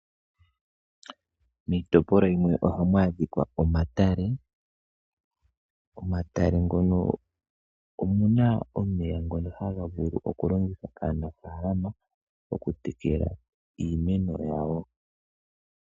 Miitopolwa yimwe ohamu adhikwa omatale. Omatale ngono omuna omeya ngono haga vulu okulongithwa kaanafaalama okutekela iimeno yawo.